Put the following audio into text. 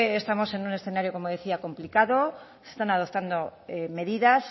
estamos en un escenario como decía complicado se están adoptando medidas